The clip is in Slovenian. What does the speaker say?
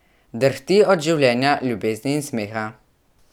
Drhti od življenja, ljubezni in smeha.